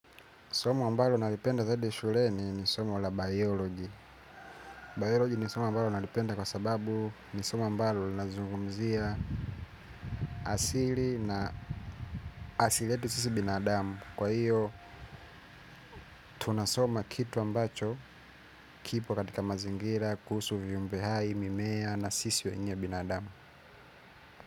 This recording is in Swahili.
Somo mbalo nalipenda zaidi shuleni ni somo la biology. Biology ni somo mbalo nalipenda kwa sababu ni somo ambalo nazungumzia asili na asiletu sisi binadamu. Kwa hiyo, tunasoma kitu ambacho kipo katika mazingira, kuhusu viumbehai, mimea na sisi wenye binadamu.